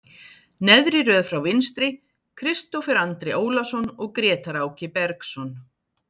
Neðri röð frá vinstri, Kristófer Andri Ólason og Grétar Áki Bergsson.